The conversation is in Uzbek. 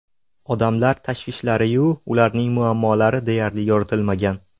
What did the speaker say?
Odamlar tashvishlari-yu, ularning muammolari deyarli yoritilmagan.